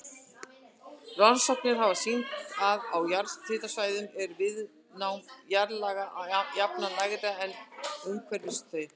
Rannsóknir hafa sýnt að á jarðhitasvæðum er viðnám jarðlaga jafnan lægra en umhverfis þau.